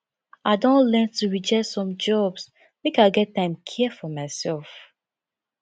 i don learn to reject some jobs make i get time care for mysef